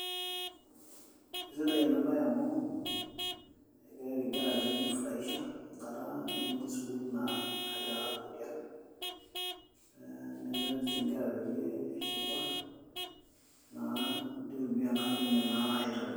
Esidai ena bae amu egirai arik inkera pee eiji furahisha enkata nemetii sukuul, naa kegira ake atonita tiang'. Neaku erik inkera pee eshipa naa nei tumia enkata enye naatobiraki.